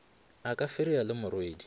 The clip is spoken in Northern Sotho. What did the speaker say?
a ka fereya le morwedi